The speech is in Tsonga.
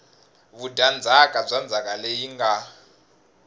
vudyandzhaka bya ndzhaka leyi nga